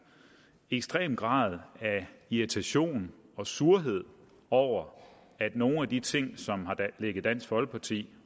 ekstrem grad af irritation og surhed over at nogle af de ting som har ligget dansk folkeparti